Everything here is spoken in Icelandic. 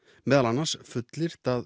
meðal annars fullyrt að